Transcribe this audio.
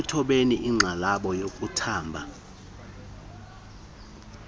ekuthobeni inxalabo yokuthamba